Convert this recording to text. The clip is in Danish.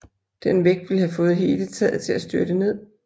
Den vægt ville have fået hele taget til at styrte ned